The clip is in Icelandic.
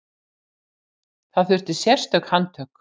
Þar þurfti sérstök handtök.